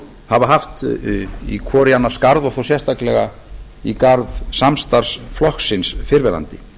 hafa haft hvor í annars garð og þá sérstaklega í garð samstarfsflokksins fyrrverandi